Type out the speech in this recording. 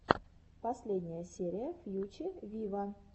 последняя серия фьюче виво